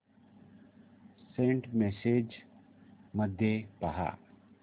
Saint messages मध्ये पहा